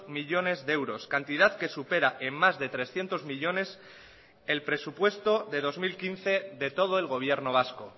millónes de euros cantidad que supera en más de trescientos millónes el presupuesto de dos mil quince de todo el gobierno vasco